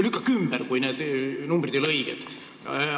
Lükake ümber, kui need arvud ei ole õiged!